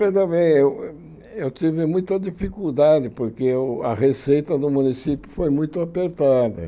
Mas também eu tive muita dificuldade, porque o a receita do município foi muito apertada.